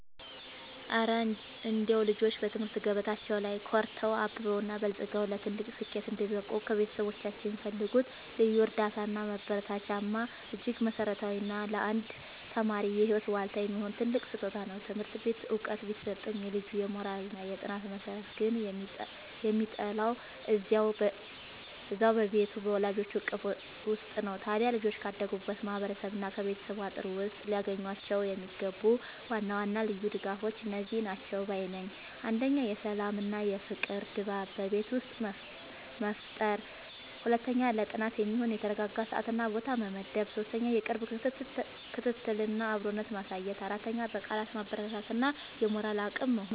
እረ እንደው ልጆች በትምህርት ገበታቸው ላይ ኮርተው፣ አብበውና በልጽገው ለትልቅ ስኬት እንዲበቁ ከቤተሰቦቻቸው የሚፈልጉት ልዩ እርዳታና ማበረታቻማ እጅግ መሠረታዊና ለአንድ ተማሪ የህይወት ዋልታ የሚሆን ትልቅ ስጦታ ነው! ትምህርት ቤት ዕውቀት ቢሰጥም፣ የልጁ የሞራልና የጥናት መሠረት ግን የሚጣለው እዚያው በቤቱ በወላጆቹ እቅፍ ውስጥ ነው። ታዲያ ልጆች ካደጉበት ማህበረሰብና ከቤተሰብ አጥር ውስጥ ሊያገኟቸው የሚገቡ ዋና ዋና ልዩ ድጋፎች እነዚህ ናቸው ባይ ነኝ፦ 1. የሰላምና የፍቅር ድባብ በቤት ውስጥ መፍጠር 2. ለጥናት የሚሆን የተረጋጋ ሰዓትና ቦታ መመደብ 3. የቅርብ ክትትልና አብሮነት ማሳየት 4. በቃላት ማበረታታት እና የሞራል አቅም መሆን